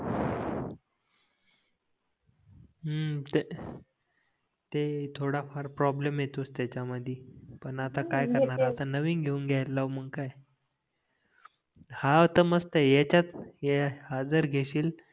हम्म ते थोडा फार प्रॉब्लम येतोच त्याच्या मध्ये पण आता काय आता नवीन घेऊन घेयला लावू काय हां तर मस्त आहे ह्याच्यात हा जर घेशील